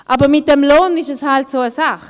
Aber mit dem Lohn ist es halt so eine Sache: